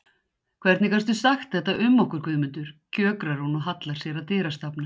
Hvernig gastu sagt þetta um okkur Guðmundur, kjökrar hún og hallar sér að dyrastafnum.